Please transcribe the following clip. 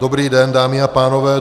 Dobrý den, dámy a pánové.